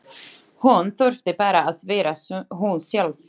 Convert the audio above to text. Hún þurfti bara að vera hún sjálf.